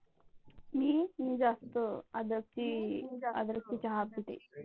मी मी जास्त अद्रक चे चहा पिते.